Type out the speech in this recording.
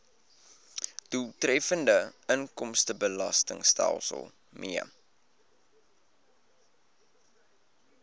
doeltreffende inkomstebelastingstelsel mee